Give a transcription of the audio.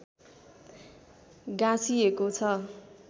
गाँसिएको छ